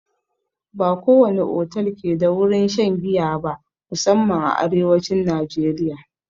Ba ko wani otal ke da wurin shan giya ba, musanman a arewacin najeriya.